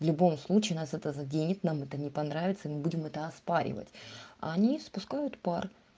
в любом случае нас это заденет нам это не понравится мы будем это оспаривать они спускают пар